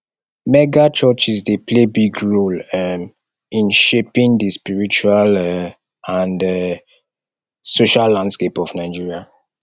megachurches dey play big role um in shaping di spiritual um and um social landscape of nigeria